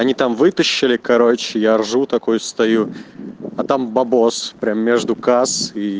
они там вытащили короче я ржу такой встаю а там бабос прям между касс ии